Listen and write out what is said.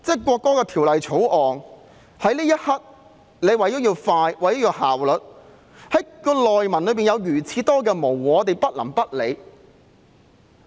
可是，《條例草案》在這一刻為了要快和有效率，條文中明明有很多模糊之處，我們不能不理。